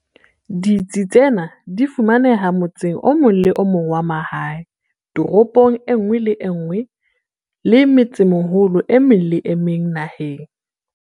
Ditsi tsena di fumaneha motseng o mong le o mong wa mahae, toropong e nngwe le e nngwe le metsemeholong e meng le e meng naheng.